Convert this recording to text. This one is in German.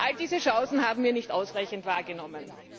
All diese Chancen haben wir nicht ausreichend wahrgenommen.